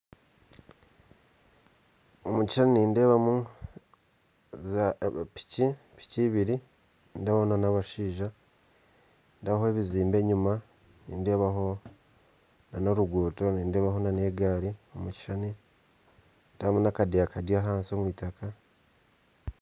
Omu kishushani nindeebamu zaapiki piki ibiri nindeebaho n'abashija nindeebaho ebizimbe enyima nindeebaho n'oruguto nindeebaho n'egaari omu kishushani nindeebamu n'akadeya kari ahansi omu eitaka